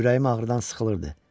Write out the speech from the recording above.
Ürəyim ağrıdan sıxılırdı.